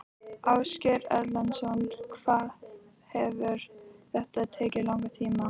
Ásgeir Erlendsson: Hvað hefur þetta tekið langan tíma?